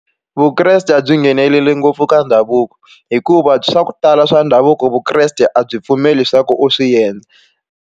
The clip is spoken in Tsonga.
Vukreste a byi ngheneleli ngopfu ka ndhavuko hikuva swa ku tala swa ndhavuko Vukreste a byi pfumeli swa ku u swi endla.